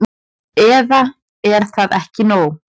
Eða er það ekki nóg?